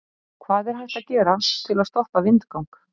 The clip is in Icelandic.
Hvað er hægt að gera til að stoppa vindgang?